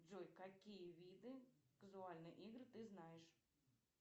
джой какие виды казуальные игры ты знаешь